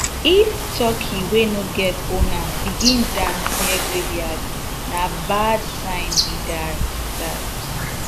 if turkey wey no get owner begin dance near graveyard na bad sign be that that